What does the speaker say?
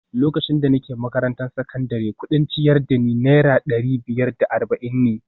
Lokacin da nake makarantar sakandare, kudin ciyar da ni Naira dari biyar da arba’in ne